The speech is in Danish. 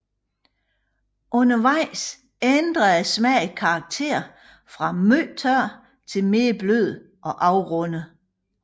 Undervejs ændrer smagen karakter fra meget tør til mere blød og afrundet